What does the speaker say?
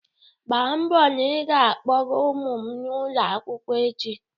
Mgba mbo na ị ga-akpọga ụmụ m n'ụlọ akwụkwọ echi!